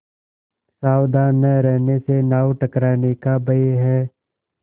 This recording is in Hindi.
सावधान न रहने से नाव टकराने का भय है